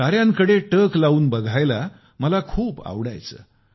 ताऱ्यांकडे टक लावून बघायला मला खूप आवडायचे